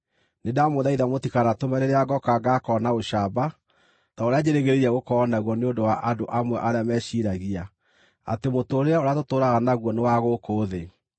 Nĩndamũthaitha mũtikanatũme rĩrĩa ngooka ngaakorwo na ũcamba ta ũrĩa njĩrĩgĩrĩire gũkorwo naguo nĩ ũndũ wa andũ amwe arĩa meciiragia atĩ mũtũũrĩre ũrĩa tũtũũraga naguo nĩ wa gũkũ thĩ.